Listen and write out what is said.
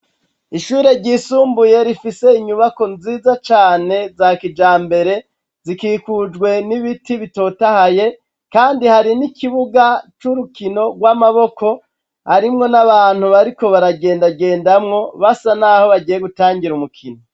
Ishure ryisumbuye rifise inyubako nziza cane za kijambere, zikikujwe n'ibiti bitotahaye, kandi hari n'ikibuga c'urukino rw'amaboko, harimwo n'abantu bariko baragendagendamwo basa naho bagiye gutangira umukino.